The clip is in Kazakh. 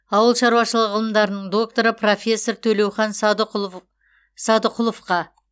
ауыл шаруашылығы ғылымдарының докторы профессор төлеухан садықұловқа